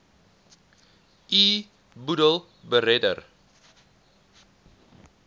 u boedel beredder